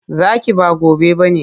Zaki, ba gobe ba ne.